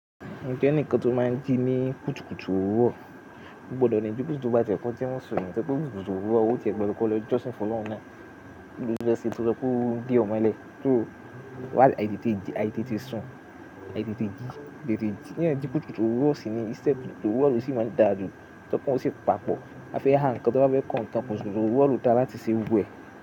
Mo ẹnikan tó máa ń jí ní kùtùkùtù òwúrọ̀, ó gbọdọ̀ ni bí ti bá jẹ́ pé wọ́n sì èèyàn tójẹ́ pé kùtùkùtù òwúrọ̀, ó ti ẹ gbọ́dọ̀ lọ jọ́sìn f'ọlọ́run nàa. Bí ó fẹ́ ṣẹ́ to so pe o de o mọlẹ, kí ó wá ìdí tí ìdí, àìtètè sùn, àìtètè jí. Kí ìdí kùtùkùtù òwúrọ̀ sì ni, iṣẹ́ kùtùkùtù òwúrọ̀ ló sì máa ń dà ju. Tokan o sì papọ̀. A fẹ́ ha ǹkan tí wọ́n bá fẹ́ kó ǹkan kùtùkùtù òwúrọ̀ lọ dà láti ṣe gbogbo ẹ̀.